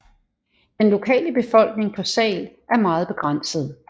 Den lokale befolkning på Sal er meget begrænset